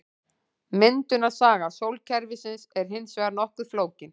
Myndunarsaga sólkerfisins er hins vegar nokkuð flókin.